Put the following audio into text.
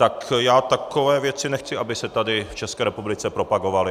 Tak já takové věci nechci, aby se tady v České republice propagovaly.